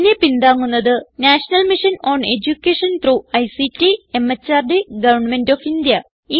ഇതിനെ പിന്താങ്ങുന്നത് national mission on education through ICT MHRD government of India